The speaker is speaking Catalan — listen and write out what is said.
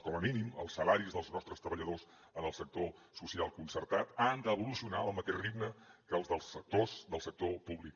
com a mínim els salaris dels nostres treballadors en el sector social concertat han d’evolucionar al mateix ritme que els dels actors del sector públic